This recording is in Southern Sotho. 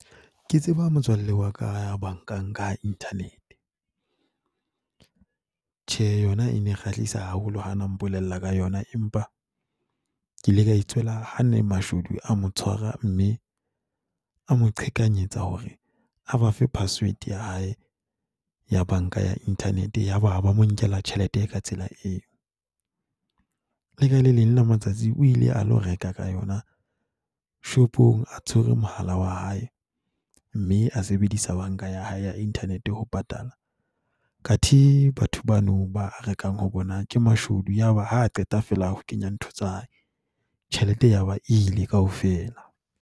Ke tseba motswalle wa ka ya bankang ka internet. Tjhe, yona e ne kgahlisa haholo ha na mpolella ka yona empa ke ile ka e tswela ha ne mashodu a mo tshwara mme a mo qhekanyetsa hore a ba fe password ya hae ya banka ya internet, yaba ba mo nkela tjhelete ka tsela eo. Le ka le leng la matsatsi o ile a lo reka ka yona shopong a tshwere mohala wa hae mme a sebedisa banka ya hae ya internet ho patala, athe batho bano ba rekang ho bona ke mashodu. Yaba ha qeta fela ho kenya ntho tsa hae tjhelete ya ba ile kaofela.